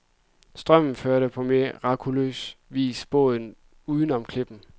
Strømmen førte på mirakuløs vis båden uden om klippen.